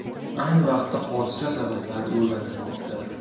Ayni vaqtda hodisa sabablari o‘rganilmoqda.